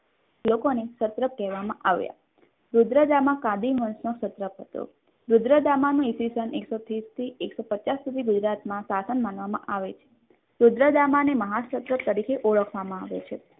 લોકોને સતત કહેવામાં આવ્યા રુદ્રજામાં કાલી વંશનું પ્રભુત્વ હતું એકસો ત્રીસ થી કસો પચાસ સુધી તેમનું શાસન માનવામાં આવે છે રુદ્રદામાને મહારાજા તરીકે ઓળખવામાં આવે છે.